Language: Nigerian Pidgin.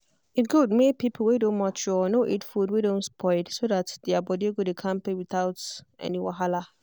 e good make people wey don mature no eat food wey don spoil so that their body go dey kampe without any wahala.